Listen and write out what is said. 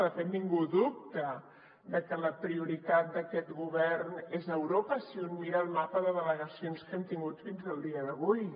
de fet ningú dubta que la prioritat d’aquest govern és europa si un mira el mapa de delegacions que hem tingut fins al dia d’avui